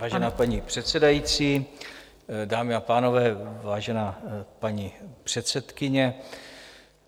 Vážená paní předsedající, dámy a pánové, vážená paní předsedkyně.